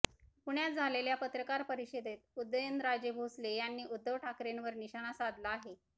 पुण्यात झालेल्या पत्रकार परिषदेत उदयनराजे भोसले यांनी उद्धव ठाकरेंवर निशाणा साधला आहे